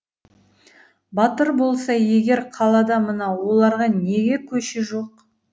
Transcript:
батыр болса егер қалада мына оларға неге көше жоқ